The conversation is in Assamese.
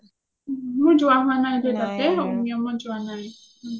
মোৰ যোৱা হুৱা নাই দেই তাতে উমিয়াম ত যোৱা নাই ও